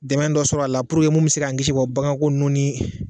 Dɛmɛ dɔ sɔrɔ a la puruke mun bɛ se ka kisi u ka bagan ko nunnun ni.